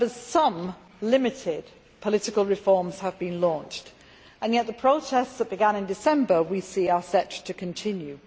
Some limited political reforms have been launched, and yet the protests that began in December, we see, are set to continue.